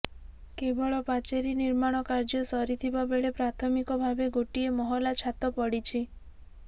କେବଳ ପାଚେରୀ ନିର୍ମାଣ କାର୍ଯ୍ୟ ସରିଥିବା ବେଳେ ପ୍ରାଥମିକ ଭାବେ ଗୋଟିଏ ମହଲା ଛାତ ପଡ଼ିଛି